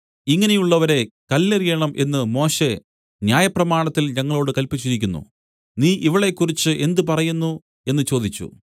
ഇങ്ങനെയുള്ളവരെ കല്ലെറിയണം എന്നു മോശെ ന്യായപ്രമാണത്തിൽ ഞങ്ങളോടു കല്പിച്ചിരിക്കുന്നു നീ ഇവളെക്കുറിച്ച് എന്ത് പറയുന്നു എന്നു ചോദിച്ചു